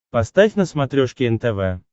поставь на смотрешке нтв